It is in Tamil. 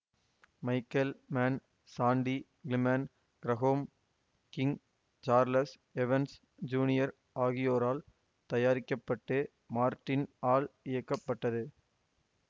Michael Mann Sandy Climan Graham King Charles Evans junior ஆகியோரால் தயாரிக்க பட்டு மார்ட்டின் ஆல் இயக்கப்பட்டது